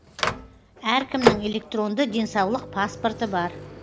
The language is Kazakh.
әркімнің электронды денсаулық паспорты бар